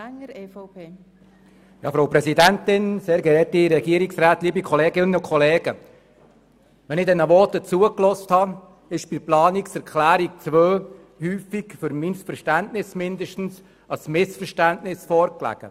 Wenn ich diesen Voten zuhöre, stelle ich fest, dass aus meiner Sicht ein Missverständnis vorliegt, was die Planungserklärung 2 betrifft.